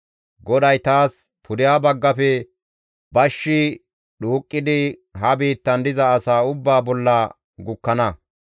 GODAY taas, «Pudeha baggafe bashshi dhuuqqidi ha biittan diza asaa ubbaa bolla gukkana.